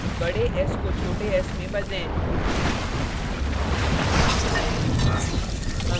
बडे s को छोटे s में बदलें